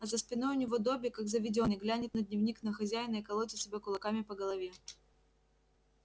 а за спиной у него добби как заведённый глянет на дневник на хозяина и колотит себя кулаками по голове